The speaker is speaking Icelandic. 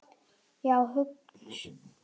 Já, hugsa sér!